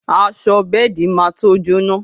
Aṣọ bẹ́ẹ̀di má to jóná